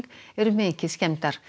eru mikið skemmdar